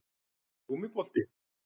Eins og gúmmíbolti